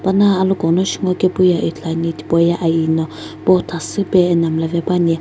pana aloghuno shi ngokepu ye ithuluani tipauye aiyi no bothasüpe ena mlla pe puani.